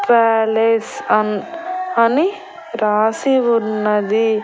Palace and అని రాసి ఉన్నది.